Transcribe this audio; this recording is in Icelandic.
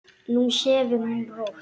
Nú sefur hún rótt.